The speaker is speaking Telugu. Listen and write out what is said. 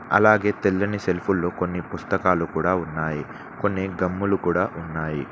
అలాగే తెల్లని సెల్ఫుల్లో కొన్ని పుస్తకాలు కూడా ఉన్నాయి. కొన్ని గమ్ములు కూడా ఉన్నాయి.